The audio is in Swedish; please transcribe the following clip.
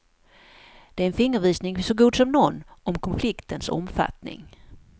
Det är en fingervisning så god som någon om konfliktens omfattning.